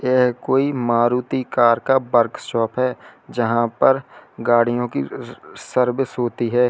यह कोई मारुति कार का वर्कशॉप है जहां पर गाड़ियों की स सर्विस होती है।